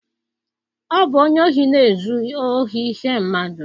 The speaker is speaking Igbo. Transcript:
Ọ bụ onye ohi na-ezu ohi ihe mmadụ